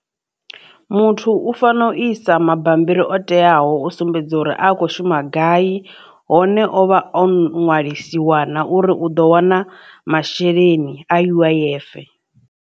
Muthu u fanela u isa mabammbiri o teaho u sumbedza uri a kho shuma gai hone ovha o ṅwalisiwana uri u ḓo wana masheleni a U_I_F.